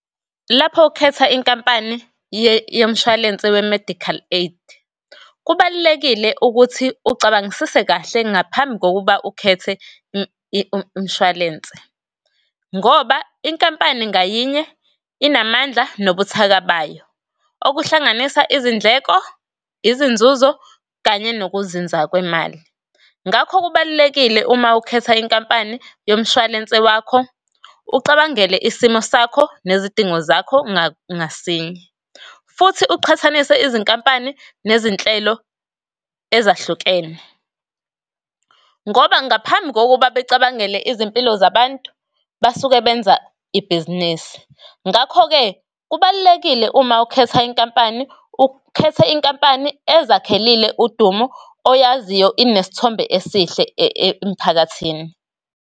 Lapho ukhetha inkampani yemshwalense we-medical aid, kubalulekile ukuthi ucabangisise kahle ngaphambi kokuba ukhethe umshwalense. Ngoba inkampani ngayinye inamandla nobuthaka bayo, okuhlanganisa izindleko, izinzuzo kanye nokuzinza kwemali. Ngakho kubalulekile uma ukhetha inkampani yomshwalense wakho, ucabangele isimo sakho nezidingo zakho ngasinye, futhi uqhathanise izinkampani nezinhlelo ezahlukene. Ngoba ngaphambi kokuba becabangele izimpilo zabantu, basuke benza ibhizinisi. Ngakho-ke kubalulekile uma ukhetha inkampani ukhethe inkampani ezakhelile udumo, oyaziyo inesithombe esihle emphakathini.